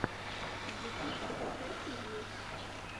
ютюб закачай фильмы